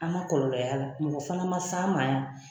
An man kɔlɔlɔ y'a la mɔgɔ fana man s'an ma yan.